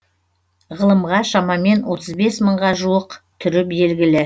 ғылымға шамамен отыз бес мыңға жуық түрі белгілі